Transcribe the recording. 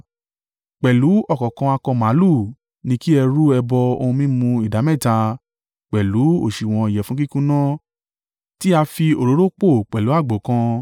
Pẹ̀lú ọ̀kọ̀ọ̀kan akọ màlúù ní kí ẹ rú ẹbọ ohun mímu ìdámẹ́ta pẹ̀lú òsùwọ̀n ìyẹ̀fun kíkúnná tí a fi òróró pò pẹ̀lú àgbò kan.